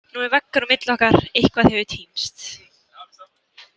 Nú er veggur á milli okkar, eitthvað hefur týnst.